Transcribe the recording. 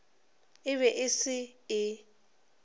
e be e se e